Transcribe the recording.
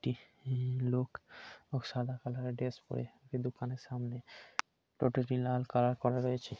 একটি লো-অ-ক সাদা কালারের ড্রেস পরে একটি দোকানের সামনে । টোটোটি লাল কালার করা আছে।